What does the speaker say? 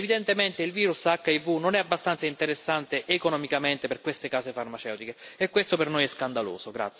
Evidentemente il virus HIV non è abbastanza interessante economicamente per queste case farmaceutiche e questo per noi è scandaloso.